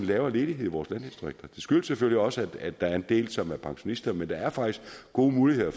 lavere ledighed i vores landdistrikter det skyldes selvfølgelig også at der er en del som er pensionister men der er faktisk gode muligheder